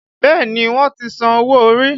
Bẹẹ ni, wọ́n ti san owó orí